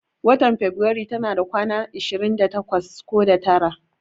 Watan faberaru tana kwanaki ashirin da takwas ko da tara